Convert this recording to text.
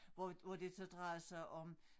Hvor hvor det så drejede sig om